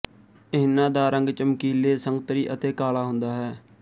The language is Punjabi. ਇਹਨਾਂ ਦਾ ਰੰਗ ਚਮਕੀਲੇ ਸੰਗਤਰੀ ਅਤੇ ਕਾਲਾ ਹੁੰਦਾ ਹੈ